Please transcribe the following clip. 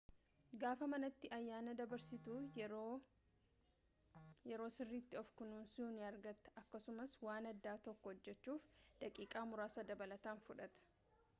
gaafa manati ayyaana dabarsitu yeroo sirritti of kunuunsu ni argata akkasumaas waan adda tokko hojjechuuf daqiiqa muraasa dabalatan fudhata